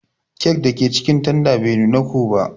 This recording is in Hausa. kek dake cikin tanda bai nuna ko ba.